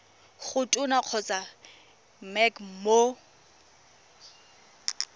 go tona kgotsa mec mo